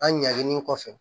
An ɲaginin kɔfɛ